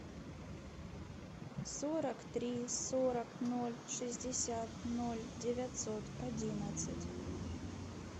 сорок три сорок ноль шестьдесят ноль девятьсот одиннадцать